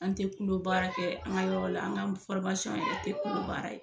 An tɛ kulo baara kɛ an ka yɔrɔ la, an ka yɛrɛ tɛ kulo baara ye.